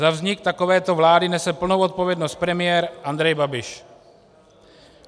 Za vznik takovéto vlády nese plnou odpovědnost premiér Andrej Babiš.